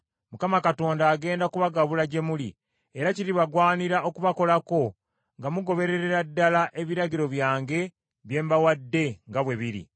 Mukama Katonda agenda kubagabula gye muli, era kiribagwanira okubakolako nga mugobererera ddala ebiragiro byange bye mbawadde nga bwe biri.